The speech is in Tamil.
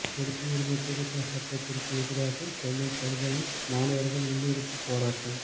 குடியுரிமை திருத்த சட்டத்திற்கு எதிராக சென்னை பல்கலை மாணவர்கள் உள்ளிருப்பு போராட்டம்